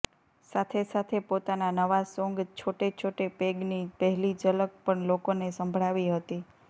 સાથે સાથે પોતાના નવા સોંગ છોટે છોટે પેગની પહેલી ઝલક પણ લોકોને સંભળાવી હતી